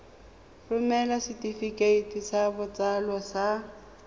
romela setefikeiti sa botsalo sa